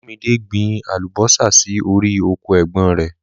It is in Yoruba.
Olúmídé gbìn àlúbọ̀sà sí ọ̀rì ọkọ è̩gbón rẹ̀.